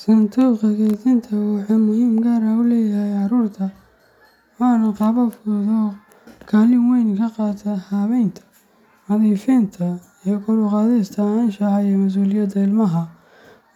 Sanduuqa keydinta wuxuu muhiimad gaar ah u leeyahay carruurta, waana qalab fudud oo kaalin weyn ka qaata habeynta, nadiifinta iyo kor u qaadista anshaxa iyo masuuliyadda ilmaha.